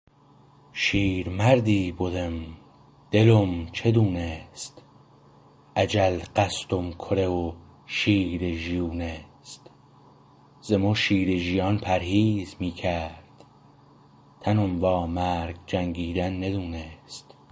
شیرمردی بدم دلم چه دونست اجل قصدم کره و شیر ژیونست ز مو شیر ژیان پرهیز می کرد تنم وا مرگ جنگیدن ندونست